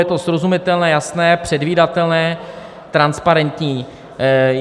Je to srozumitelné, jasné, předvídatelné, transparentní.